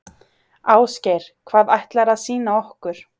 Ásgeir: Hvað ætlarðu að sýna okkur?